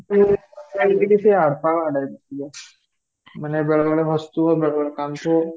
କାହିଁକି ନା ସେ ପାଗଳା ଵାଲା ଝିଅ ମାନେ ବେଳେ ବେଳେ ହସୁ ଥିବ ବେଳେ ବେଳେ କାନ୍ଦୁଥିବ